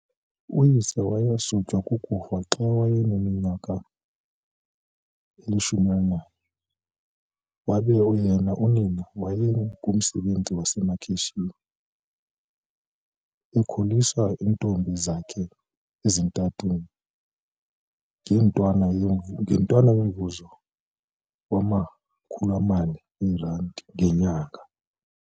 Uyise wasutywa kukufa xa wayeneminyaka eli-11 wabe yena unina, owayeng umsebenzi wasemakhitshini, ekwakhulisa iintombi zakhe ezintathu ngentwana yomvuzo wama-40eeRand ngenyanga.